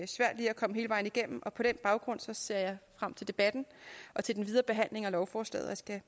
komme hele vejen igennem og på den baggrund ser jeg frem til debatten og til den videre behandling af lovforslaget jeg